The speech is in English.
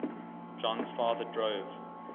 jon's father drove